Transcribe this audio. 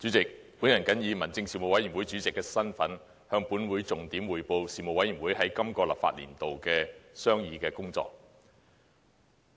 主席，我謹以民政事務委員會主席的身份，向本會重點匯報事務委員會在今個立法年度的商議工作。